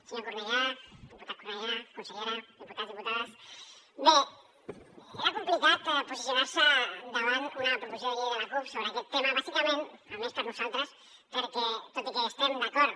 senyor cornellà diputat cornellà consellera diputats diputades bé era complicat posicionar se davant una proposició de llei de la cup sobre aquest tema bàsicament almenys per nosaltres perquè tot i que hi estem d’acord